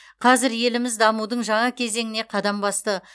қазір еліміз дамудың жаңа кезеңіне қадам басты